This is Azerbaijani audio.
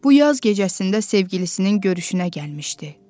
Bu yaz gecəsində sevgilisinin görüşünə gəlmişdi.